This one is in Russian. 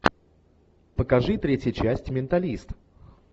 покажи третья часть менталист